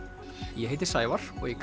ég heiti Sævar og í